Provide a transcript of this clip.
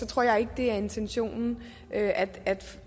tror jeg ikke det er intentionen at